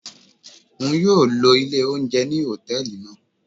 Oun yóò ló ilè ounjẹ ni hòtẹ́ẹ̀lì naa.